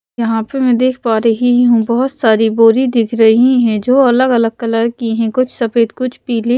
यहाँ पे मैं देख पा रही हूं बहुत सारी बोरी दिख रही हैं जो अलग अलग कलर की हैं कुछ सफेद कुछ पीली--